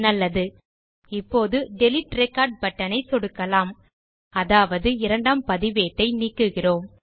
நல்லது இப்போது delete record button ஐ சொடுக்கலாம் அதாவது இரண்டாம் பதிவேட்டை நீக்குகிறோம்